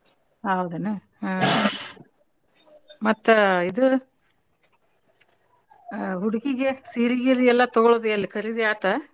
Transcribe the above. ಹೌದೇನು ಹ್ಮ್ ಮತ್ತ್ ಇದು ಅ~ ಹುಡ್ಗಿಗೆ ಸೀರಿ ಗೀರಿ ತಗೊಳೋದ್ ಎಲ್ಲೆ ಖರೀದಿ ಆತಾ?